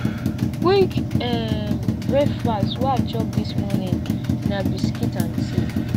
quick um breakfast wey i chop dis morning na biscuit and tea